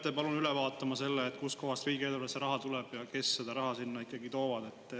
Te peate üle vaatama selle, kustkohast riigieelarvesse raha tuleb ja kes seda raha sinna toovad.